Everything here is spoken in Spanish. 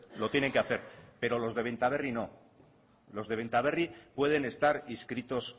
lo tienen que hacer pero los de benta berri no los de benta berri pueden estar inscritos